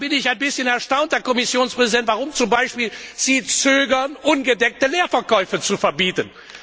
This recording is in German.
Deshalb bin ich ein bisschen erstaunt, Herr Kommissionspräsident, warum Sie zum Beispiel zögern, ungedeckte Leerverkäufe zu verbieten.